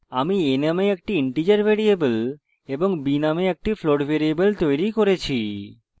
আমি a নামে একটি integer ভ্যারিয়েবল এবং b নামে একটি float ভ্যারিয়েবল তৈরী করেছি